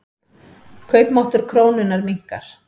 Kaupmáttur krónunnar minnkar.